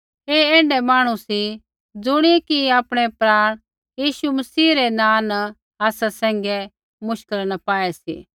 ऐ ऐण्ढै मांहणु सी ज़ुणियै कि आपणै प्राण यीशु मसीह रै नाँ न आसा सैंघै मुश्किला न पाऐ सी